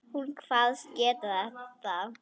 Hún kvaðst geta það.